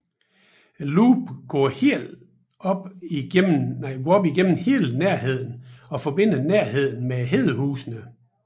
Loopet går gennem hele Nærheden og forbinder Nærheden med Hedehusene